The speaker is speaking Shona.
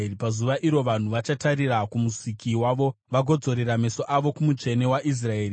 Pazuva iro vanhu vachatarira kuMusiki wavo, vagodzorera meso avo kuMutsvene waIsraeri.